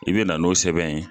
I be na n'o sɛbɛn ye.